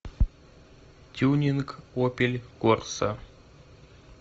тюнинг опель корса